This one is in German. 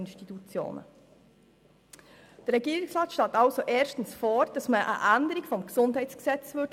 Der Regierungsrat schlägt also erstens eine Änderung des GesG vor.